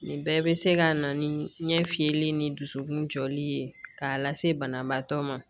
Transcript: Nin bɛɛ bɛ se ka na ni ɲɛ fiyɛli ni dusukun jɔli ye k'a lase banabaatɔ ma